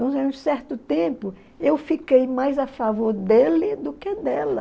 certo tempo, eu fiquei mais a favor dele do que dela.